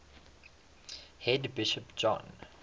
head bishop john